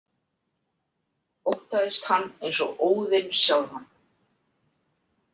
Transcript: Óttaðist hann eins og Óðin sjálfan.